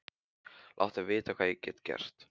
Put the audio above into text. Láttu vita hvað ég get gert.